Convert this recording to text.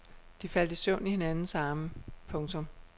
De faldt i søvn i hinandens arme. punktum